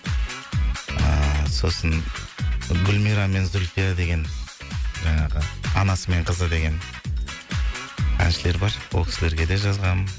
ыыы сосын гульмира мен зульфия деген жаңағы анасы мен қызы деген әншілер бар ол кісілерге де жазғам